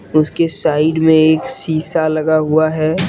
उसके साइड मे एक शीशा लगा हुआ है।